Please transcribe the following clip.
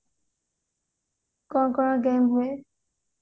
କଣ କଣ ଦିଆ ହୁଏ